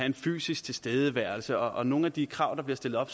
en fysisk tilstedeværelse og på nogle af de krav der er stillet op